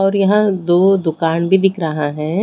और यहाँ दो दूकान भी दिख रहा है।